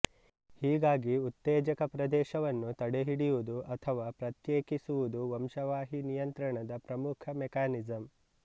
ಹೀಗಾಗಿ ಉತ್ತೇಜಕ ಪ್ರದೇಶವನ್ನು ತಡೆಹಿಡಿಯುವುದು ಅಥವಾ ಪ್ರತ್ಯೇಕಿಸುವುದು ವಂಶವಾಹಿ ನಿಯಂತ್ರಣದ ಪ್ರಮುಖ ಮೆಕಾನಿಸಂ